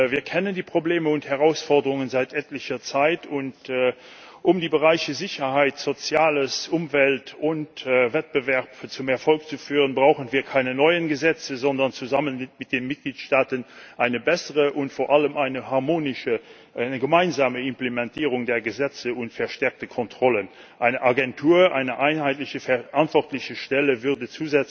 Wir kennen die Probleme und Herausforderungen seit etlicher Zeit, und um die Bereiche Sicherheit, Soziales, Umwelt und Wettbewerb zum Erfolg zu führen, brauchen wir keine neuen Gesetze, sondern zusammen mit den Mitgliedstaaten eine bessere und vor allem eine harmonische, eine gemeinsame Implementierung der Gesetze und verstärkte Kontrollen. Eine Agentur, eine einheitliche verantwortliche Stelle, würde